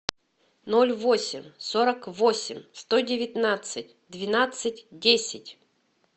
ноль восемь сорок восемь сто девятнадцать двенадцать десять